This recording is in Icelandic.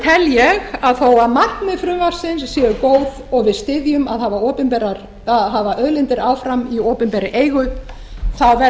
tel ég að markmið frumvarpsins séu góð og við styðjum að hafa auðlindir áfram í opinberri eigu þá verður